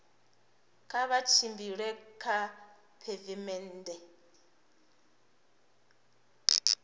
kha vha tshimbile kha pheivimennde